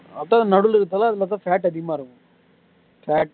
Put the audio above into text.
அதான் நடுவுல இருக்கறதல அது பாத்தா fat அதிகமா இருக்கும் fat